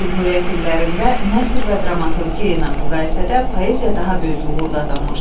Cümhuriyyət illərində nəsr və dramaturğiya ilə müqayisədə poeziya daha böyük uğur qazanmışdı.